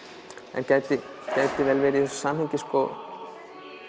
en gæti vel verið samhengi sko